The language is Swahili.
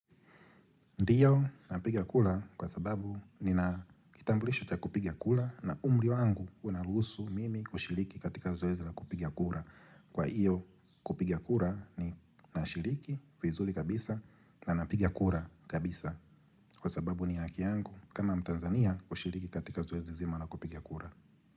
Ndiyo, napigia kura kwa sababu nina kitambulisho cha kupigia kura na umri wangu unaruhusu mimi kushiriki katika zoezi na kupigia kura. Kwa hiyo, kupiga kura ni nashiriki, vizuri kabisa na napiga kura kabisa kwa sababu ni haki yangu kama mtanzania kushiriki katika zoezi zima la kupiga kura.